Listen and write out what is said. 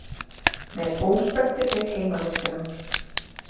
Með óspektir við heimavistina